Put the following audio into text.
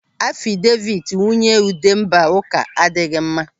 Afideviti nwunye Udemba ụka adịghị mma.